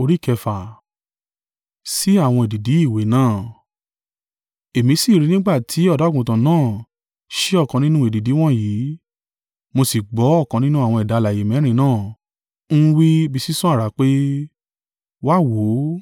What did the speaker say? Èmi sì rí i nígbà tí Ọ̀dọ́-àgùntàn náà ṣí ọkàn nínú èdìdì wọ̀nyí, mo sì gbọ́ ọ̀kan nínú àwọn ẹ̀dá alààyè mẹ́rin náà ń wí bí sísán àrá pé, “Wá, wò ó!”